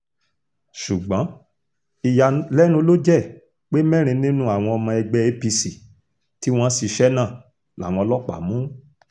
ṣùgbọ́n ìyàlẹ́nu ló jẹ́ pé mẹ́rin nínú àwọn ọmọ ẹgbẹ́ apc tí wọ́n ṣiṣẹ́ náà làwọn ọlọ́pàá mú